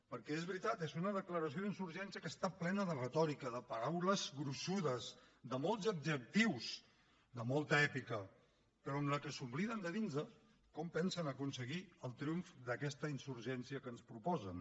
perquè és veritat és una declaració d’insurgència que està plena de retòrica de paraules gruixudes de molts adjectius de molta èpica però en què s’obliden de dir nos com pensen aconseguir el triomf d’aquesta insurgència que ens proposen